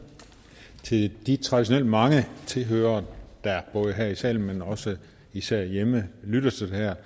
til de traditionelt mange tilhørere der både her i salen men også og især hjemme lytter til det her